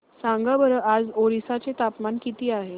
सांगा बरं आज ओरिसा चे तापमान किती आहे